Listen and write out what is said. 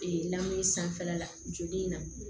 lamu sanfɛla la joli in na